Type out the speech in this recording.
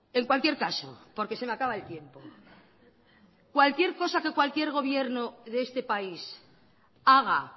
en cualquier caso porque se me acaba el tiempo cualquier cosa que cualquier gobierno de este país haga